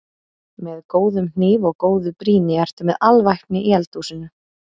Með góðum hníf og góðu brýni ertu með alvæpni í eldhúsinu.